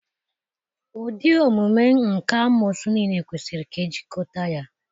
Ụdị omume nka amoosu niile kwesịrị ka ejikọta ya.